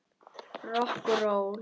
Rokk og ról.